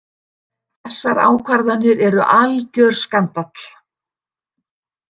Þessar ákvarðanir eru algjör skandall.